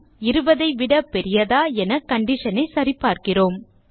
20 ஐ விட பெரியதா என கண்டிஷன் ஐ சரிபார்க்கிறோம்